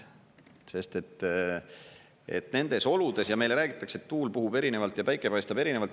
Sest et nendes oludes … ja meile räägitakse, et tuul puhub erinevalt ja päike paistab erinevalt.